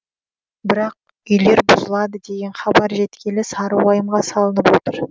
бірақ үйлер бұзылады деген хабар жеткелі сары уайымға салынып отыр